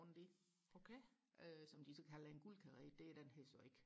rundt i øh som de så kalder en guldkaret det er den her så ikke